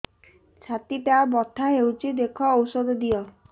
ଛାତି ଟା ବଥା ହଉଚି ଦେଖ ଔଷଧ ଦିଅ